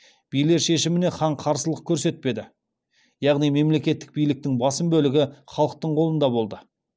билер шешіміне хан қарсылық көрсетпеді яғни мемлекеттік биліктің басым бөлігі халықтың қолында болды